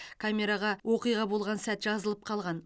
камераға оқиға болған сәт жазылып қалған